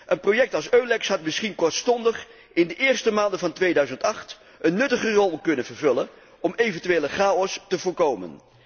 Een project als EULEX had misschien kortstondig, in de eerste maanden van 2008, een nuttige rol kunnen vervullen om eventuele chaos te voorkomen.